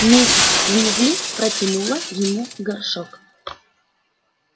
миссис уизли протянула ему горшок